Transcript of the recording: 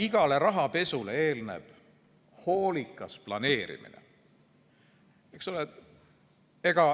Igale rahapesule eelneb hoolikas planeerimine, eks ole.